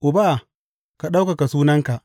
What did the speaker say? Uba, ka ɗaukaka sunanka!